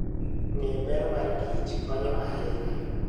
Ng'eyo ber mar kich konyo ahinya.